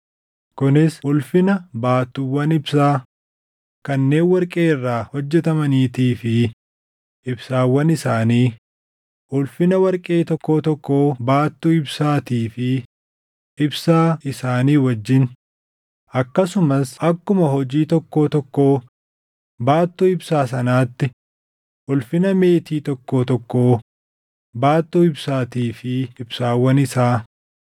Kunis ulfina baattuuwwan ibsaa kanneen warqee irraa hojjetamaniitii fi ibsaawwan isaanii, ulfina warqee tokkoo tokkoo baattuu ibsaatii fi ibsaa isaanii wajjin, akkasumas akkuma hojii tokkoo tokkoo baattuu ibsaa sanaatti ulfina meetii tokkoo tokkoo baattuu ibsaatii fi ibsaawwan isaa,